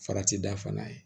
Farati da fana ye